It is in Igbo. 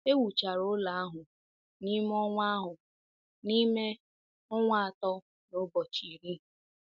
E wuchara ụlọ ahụ n’ime ọnwa ahụ n’ime ọnwa atọ na ụbọchị iri.